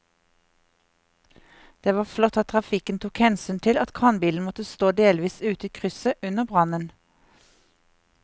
Det var flott at trafikken tok hensyn til at kranbilen måtte stå delvis ute i krysset under brannen.